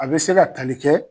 A bɛ se ka kali kɛ